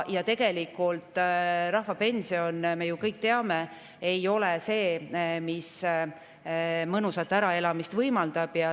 Rahvapension, me ju kõik teame, ei ole see, mis mõnusat äraelamist võimaldab.